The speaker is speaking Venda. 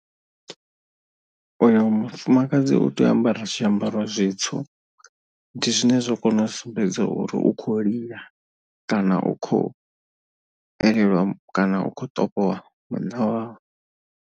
Uyo mufumakadzi u tea u ambara zwiambaro zwitswu, ndi zwine zwa kona u sumbedza uri u khou lila, kana u khou elelwa kana u khou ṱovhowa munna wawe.